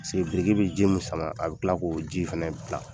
Paseke biriki bɛ ji mun sama ,a bɛ kila k'o ji fɛnɛ bila.